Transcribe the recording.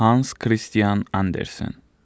Hans Kristian Andersen.